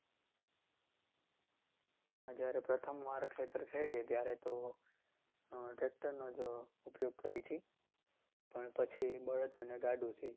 ના જ્યારે પ્રથમ વાર ખેતર ખેડીએ ત્યારે તો tractor નો જ ઉપ્યોગ કરીએ છીએ. પણ પછી બળદ અને ગાડુંથી જ.